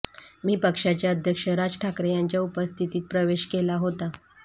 मी पक्षाचे अध्यक्ष राज ठाकरे यांच्या उपस्थितीत प्रवेश केला होता